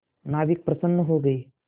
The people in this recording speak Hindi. नाविक प्रसन्न हो गए